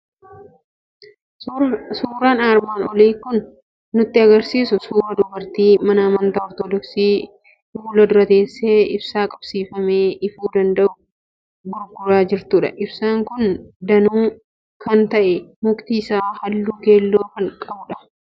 Suuraan armaan olii kan nutti argisiisu suuraa dubartii mana amantaa Ortoodoksii fuula dura teessee ibsaa qabsiifamee ifuu danda'u gurguraa jirtudha. Ibsaan kun danuu kan ta'e, mukti isaa halluu keelloo kan qabudha.